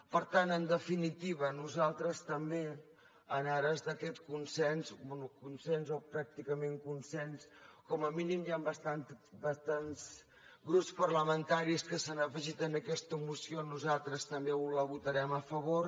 per tant en definitiva nosaltres també en ares d’aquest consens bé consens o pràcticament consens com a mínim hi han bastants grups parlamentaris que s’han afegit a aquesta moció nosaltres també la votarem a favor